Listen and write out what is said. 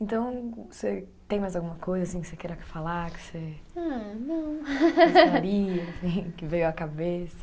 Então, você tem mais alguma coisa assim que você queira falar, que você. Ah, não. Gostaria assim, que veio à cabeça?